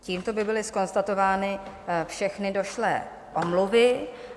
Tímto by byly zkonstatovány všechny došlé omluvy.